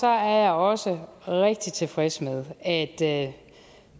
er jeg også rigtig tilfreds med at at